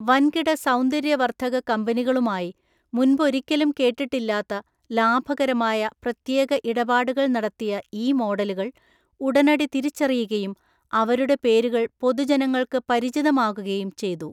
വൻകിട സൗന്ദര്യവർദ്ധക കമ്പനികളുമായി മുൻപൊരിക്കലും കേട്ടിട്ടില്ലാത്ത ലാഭകരമായ പ്രത്യേക ഇടപാടുകൾ നടത്തിയ ഈ മോഡലുകൾ ഉടനടി തിരിച്ചറിയുകയും അവരുടെ പേരുകൾ പൊതുജനങ്ങൾക്ക് പരിചിതമാകുകയും ചെയ്തു.